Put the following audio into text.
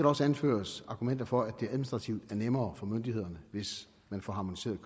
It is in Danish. også anføres argumenter for at det administrativt er nemmere for myndighederne hvis man får harmoniseret